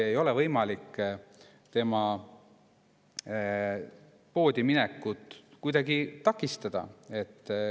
Ei ole võimalik tema poodiminekut kuidagi takistada.